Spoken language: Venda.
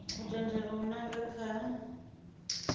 u tendelwa u nanga kha